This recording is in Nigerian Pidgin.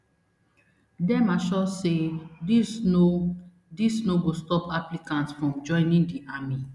dem assure say dis no dis no go stop applicants from joining di army